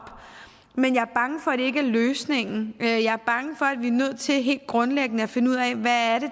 men jeg er bange for at det ikke er løsningen jeg er bange for at vi er nødt til helt grundlæggende at finde ud af hvad det